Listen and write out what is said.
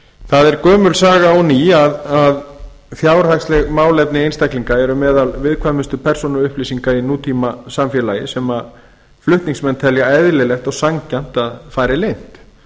það er gömul saga og ný að fjárhagsleg málefni einstaklinga eru meðal viðkvæmustu persónuupplýsinga í nútímasamfélagi sem flutningsmenn telja eðlilegt og sanngjarnt að fari leynt